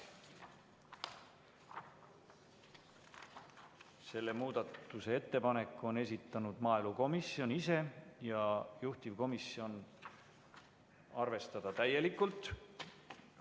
Selle muudatusettepaneku on esitanud maaelukomisjon ise ja juhtivkomisjon – arvestada täielikult.